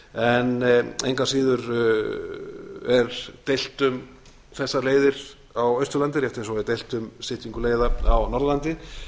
degi engu að síður er deilt um þessar leiðir á austurlandi rétt eins og er deilt um styttingu leiða á norðurlandi enda mundi það ef til